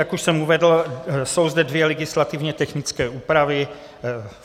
Jak už jsem uvedl, jsou zde dvě legislativně technické úpravy.